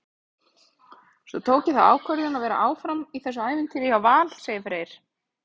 Svo tók ég þá ákvörðun að vera áfram í þessu ævintýri hjá Val, segir Freyr.